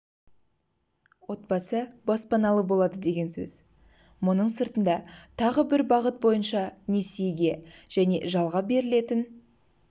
отбасы баспаналы болады деген сөз мұның сыртында тағы бір бағыт бойынша несиеге және жалға берілетін